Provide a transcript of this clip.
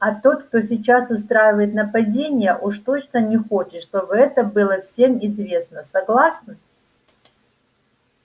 а тот кто сейчас устраивает нападения уж точно не хочет чтобы это было всем известно согласны